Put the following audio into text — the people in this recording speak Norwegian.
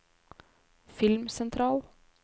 filmsentral